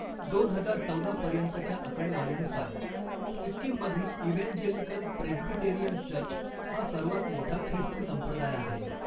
दोन हजार चौदा पर्यंतच्या आकडेवारीनुसार, सिक्कीममधील इव्हँजेलिकल प्रेस्बिटेरियन चर्च हा सर्वात मोठा ख्रिस्ती संप्रदाय आहे.